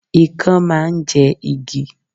Ikán máa ń jẹ igi